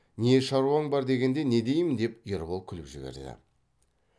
не шаруаң бар дегенде не деймін деп ербол күліп жіберді